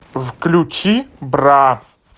включи бра